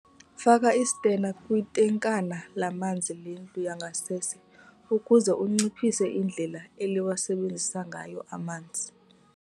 Faka isitena kwitankana lamanzi lendlu yangasese ukuze unciphise indlela eliwasebenzisa ngayo amanzi.